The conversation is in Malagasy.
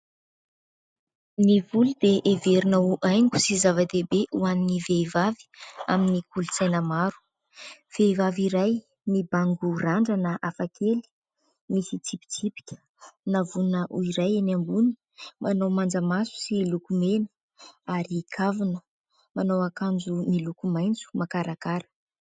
Ny volo dia heverina ho haingo sy zava-dehibe ho an'ny vehivavy, amin'ny kolotsaina maro. Vehivavy iray mibango randrana hafakely, misy tsipitsipika, navoina ho iray eny ambony ; manao manjamaso sy lokomena ary kavina ; manao akanjo miloko maitso makarakara.